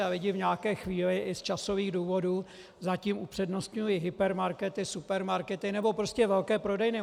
A lidé v nějaké chvíli i z časových důvodů zatím upřednostňují hypermarkety, supermarkety, nebo prostě velké prodejny.